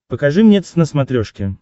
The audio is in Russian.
покажи мне твз на смотрешке